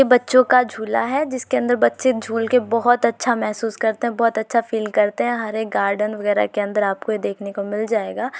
ये बच्चो का झूला है जिसके अंदर बच्चे झूल के बोहोत अच्छा मेहसूस करते हैं बोहोत अच्छा फील करते हैं। हर एक गार्डन वगेराह के अंदर आपको ये देखने मिल जाएगा।